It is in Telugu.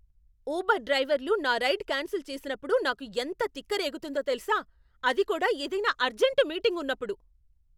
ఉబర్ డ్రైవర్లు నా రైడ్ క్యాన్సిల్ చేసినప్పుడు నాకు ఎంత తిక్కరేగుతుందో తెల్సా! అది కూడా ఏదైనా అర్జెంట్ మీటింగ్ ఉన్నప్పుడు.